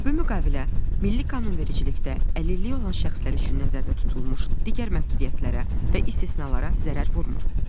Bu müqavilə Milli Qanunvericilikdə əlilliyi olan şəxslər üçün nəzərdə tutulmuş digər məhdudiyyətlərə və istisnalara zərər vurmır.